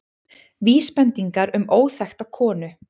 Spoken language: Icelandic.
Vísbendingar um óþekkta konu